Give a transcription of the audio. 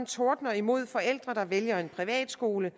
tordner imod forældre der vælger en privatskole